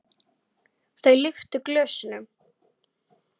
Þau lyftu glösum.